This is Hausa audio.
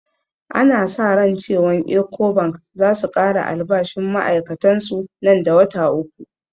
Ana sa ran cewan ecobank zasu kara albashinn ma'ai'katan su nan da wata uku